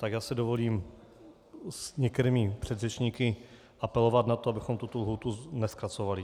Tak já si dovolím s některými předřečníky apelovat na to, abychom tuto lhůtu nezkracovali.